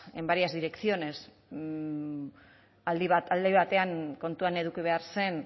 en varias direcciones alde batean kontuan eduki behar zen